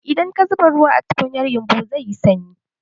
Idan ka zuba ruwa a tukunyar yumbu, zai yi sanyi.